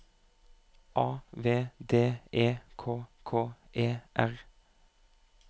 A V D E K K E R